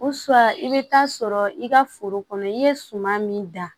i bɛ taa sɔrɔ i ka foro kɔnɔ i ye suman min da